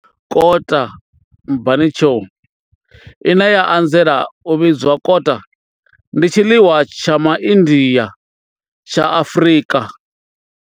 Kota bunny chow, ine ya anzela u vhidzwa kota, ndi tshiḽiwa tsha MaIndia tsha Afrika